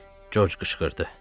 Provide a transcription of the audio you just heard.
Corc qışqırdı.